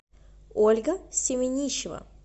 ольга семенищева